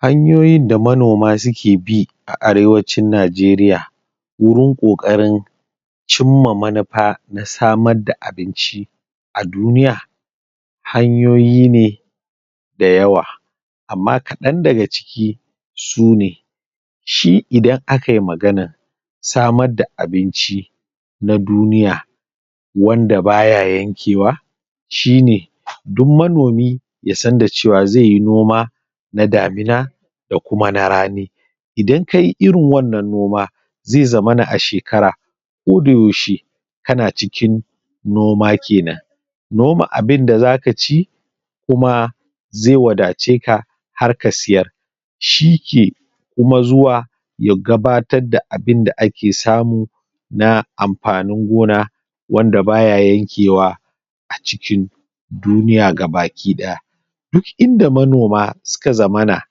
Hanyoyin da manoma suke bi a arewacin Najeriya wurin ƙoƙarin cimma manufa na samar da abinci a duniya hanyoyi ne da yawa. Amma kaɗan daga ciki, sune shin idan aka yi maganar samar da abinci na duniya wanda ba ya yankewa shine duk manomi ya san da cewa zai yi noma na damina da kuma na rani. Idan ka yi irin wannan noma, zai zamana a shekara koda yaushe kana cikin noma kenan. Noma abinda zaka ci kuma zai wadace ka har ka siyar shi ke kuma zuwa ya gabatar da abinda ake samu na amfanin gona wanda ba ya yankewa a cikin duniya ga baki ɗaya. Duk manoma su ka zamana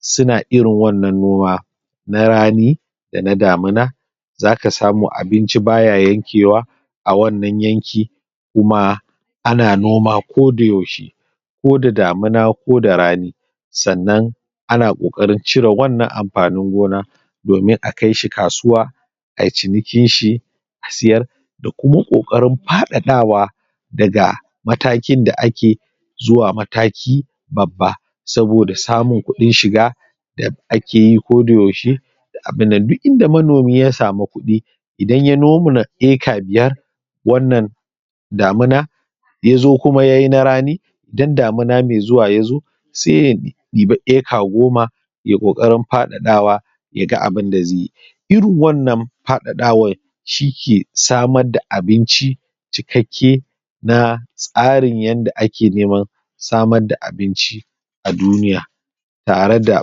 su na irin wannan noma na rani da na damina za ka samu abinci ba ya yankewa a wannan yanki, kuma ana noma koda yaushe ko da damina, ko da rani sannan ana ƙoƙarin cire wannan amfanin gona domin a kaishi kasuwa ayi cinikin shi a siyar, da kuma ƙoƙarin faɗaɗawa daga matakin da ake zuwa mataki babba, saboda samun kuɗin shiga da ake yi koda yaushe da abin nan, duk inda manomi ya sami kuɗi, idan ya noma eka biyar wannan damina ya zo kuma yayi na rani. Idan damina mai zuwa ya zo sai ya ibi eke goma yayi ƙoƙarin faɗaɗawa, ya ga abunda zai yi. Irin wannan faɗaɗawar, shi ke samar da abinci cikakke na tsarin yanda ake neman samar da abinci a duniya, tare da,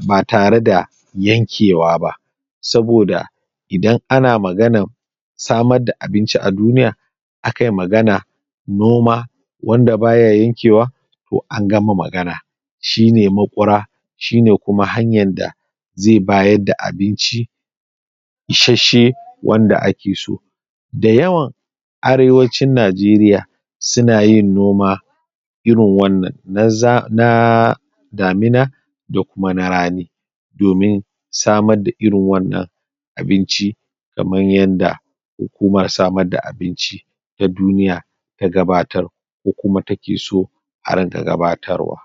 ba tare da yankewa ba. Saboda idan ana maganar samar da abinci a duniya akai maganar noma wanda ba ya yankewa ko an gama magana shine maƙura, shine kuma hanyar da zai bayar da abinci isasshe, wanda ake so. Da yawan arewacin Najeriya su na yin noma irin wannan, na za, na damina, da kuma rani, domin samar da irin wannan abinci kamar yanda hukumar samar da abinci ta duniya ta gabatar ko kuma take so a rinƙa gabatarwa.